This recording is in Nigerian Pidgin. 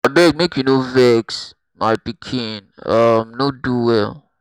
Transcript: abeg make you no vex my pikin um no do well